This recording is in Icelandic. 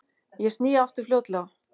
Ég sný aftur fljótlega.